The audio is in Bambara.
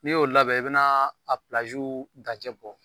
N'i y'o labɛn i bɛnaa a pilaziw dancɛ bɔ